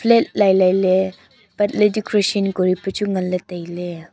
flake lailai ley patley tu crition kuripu chu nganley tailey.